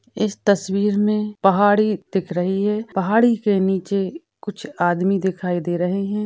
इस तस्वीर मे पहाड़ी दिख रही है पहाड़ी के नीचे कुछ आदमी दिखाई दे रहे है।